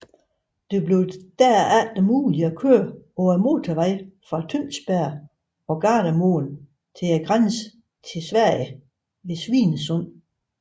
Det blev derefter muligt at køre på motorvejen fra Tønsberg og Gardermoen til grænsen til Sverige ved Svinesund